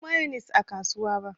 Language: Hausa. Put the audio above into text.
Ban samu mayonis a kasuwa ba.